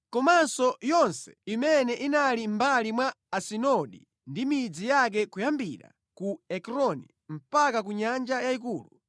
komanso yonse imene inali mʼmbali mwa Asidodi ndi midzi yake kuyambira ku Ekroni mpaka ku Nyanja Yayikulu.